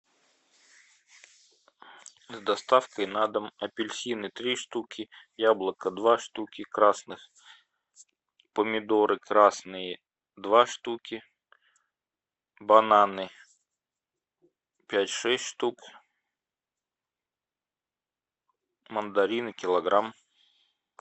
с доставкой на дом апельсины три штуки яблоко два штуки красных помидоры красные два штуки бананы пять шесть штук мандарины килограмм